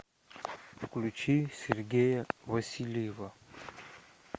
включи сергея васильева